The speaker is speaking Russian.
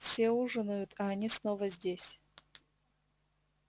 все ужинают а они снова здесь